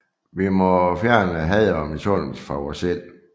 Vi må fjerne had og misundelse fra vore sind